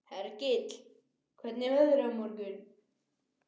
Hergill, hvernig er veðrið á morgun?